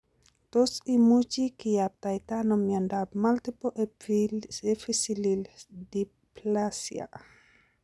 Tos imuchi kiyaptaita ano miondop multiple epiphyseal dysplasia